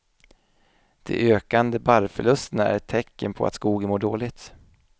De ökande barrförlusterna är ett tecken på att skogen mår dåligt.